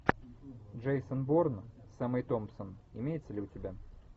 джейсон борн с эммой томпсон имеется ли у тебя